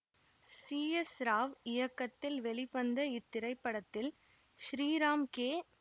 C S Rao இயக்கத்தில் வெளிவந்த இத்திரைப்படத்தில் ஸ்ரீராம் கே